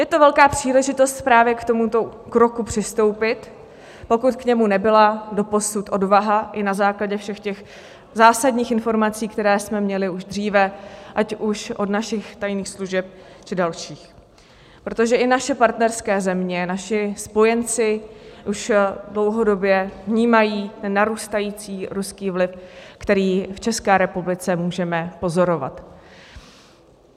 Je to velká příležitost právě k tomuto kroku přistoupit, pokud k němu nebyla doposud odvaha i na základě všech těch zásadních informací, které jsme měli už dříve, ať už od našich tajných služeb, či dalších, protože i naše partnerské země, naši spojenci už dlouhodobě vnímají ten narůstající ruský vliv, který v České republice můžeme pozorovat.